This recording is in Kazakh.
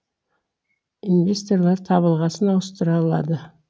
инвесторлар табылғасын ауыстырылады